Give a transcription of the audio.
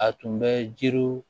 A tun bɛ jiri